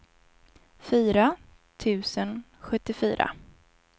fyra tusen sjuttiofyra